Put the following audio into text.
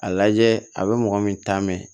A lajɛ a bɛ mɔgɔ min ta mɛ